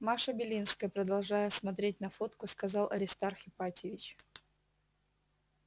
маша белинская продолжая смотреть на фотку сказал аристарх ипатьевич